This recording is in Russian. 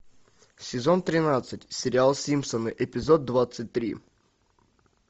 сезон тринадцать сериал симпсоны эпизод двадцать три